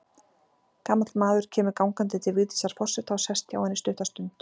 Gamall maður kemur gangandi til Vigdísar forseta og sest hjá henni stutta stund.